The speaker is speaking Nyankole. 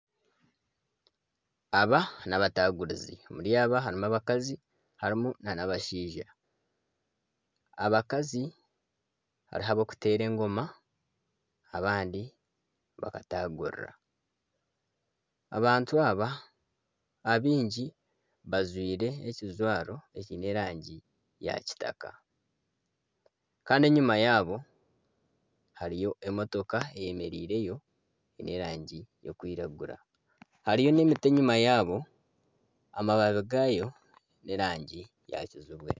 Aba n'abatanguruzi omuri aba harimu abakazi harimu n'abashaija, abakazi hariho abarikuteera engoma abandi bakatangurira abantu aba abaingi bajwaire ekijwaro ekyine erangi ya kitaka kandi enyuma yaabo hariyo emotoka eyemereireyo y'erangi erikwiragura hariyo n'emiti enyuma yaabo amababi gaayo g'erangi ya kinyaatsi.